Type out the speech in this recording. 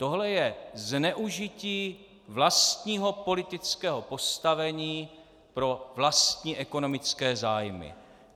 Tohle je zneužití vlastního politického postavení pro vlastní ekonomické zájmy.